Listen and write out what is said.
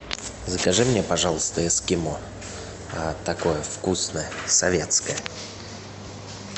закажи мне пожалуйста эскимо такое вкусное советское